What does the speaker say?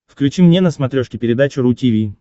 включи мне на смотрешке передачу ру ти ви